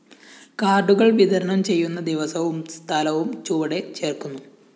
കാര്‍ഡുകള്‍ വിതരണം ചെയ്യുന്ന ദിവസവും സ്ഥലവും ചുവടെ ചേര്‍ക്കുന്നു